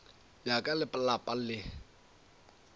bja ka le lapa le